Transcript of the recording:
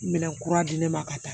Minɛn kura di ne ma ka taa